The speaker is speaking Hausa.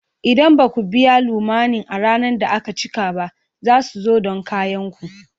Idan ba ku biya lamunin a ranar da aka cika ba, za su zo don kayan ku.